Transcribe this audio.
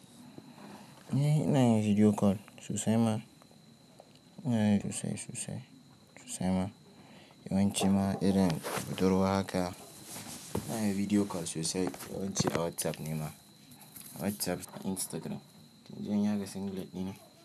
Eh ina yin video call sosai ma. Ina yin sosai, sosai, sosai ma. Yawanci ma irin budurwa haka ina yin video call sosai. Yawanci a WhatsApp ne ma. WhatsApp da Instagram. To in je in yaga single ɗina.